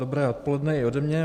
Dobré odpoledne i ode mě.